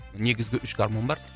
негізгі үш гармон бар